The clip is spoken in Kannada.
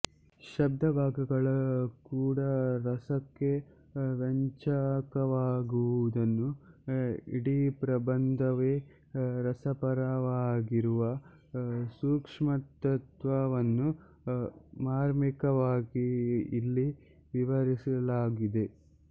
ಶಬ್ದಭಾಗಗಳು ಕೂಡ ರಸಕ್ಕೆ ವ್ಯಂಜಕವಾಗುವುದನ್ನೂ ಇಡೀಪ್ರಬಂಧವೇ ರಸಪರವಾಗಿರುವ ಸೂಕ್ಷ್ಮತತ್ತ್ವವನ್ನೂ ಮಾರ್ಮಿಕವಾಗಿ ಇಲ್ಲಿ ವಿವರಿಸಲಾಗಿದೆ